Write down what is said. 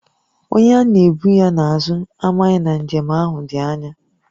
Onye a na-ebu ya n’azụ amaghị na njem ahụ dị ányá